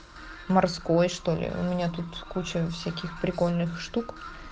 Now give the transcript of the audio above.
морской что ли у меня тут куча всяких прикольных штук